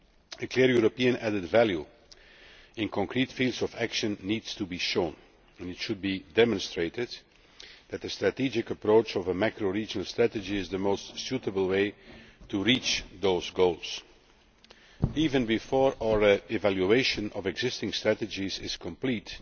A clear European added value in concrete fields of action needs to be shown, and it should be demonstrated that the strategic approach of a macro regional strategy is the most appropriate way to reach those goals. Even before our evaluation of existing strategies is complete,